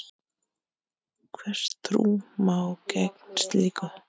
Hvers má trú gegn slíku?